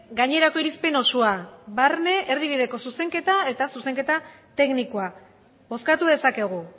gainerako irizpen osoa barne erdibideko zuzenketa eta zuzenketa teknikoa bozkatu dezakegu